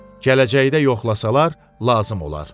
Gələcəkdə yoxlasalar, lazım olar.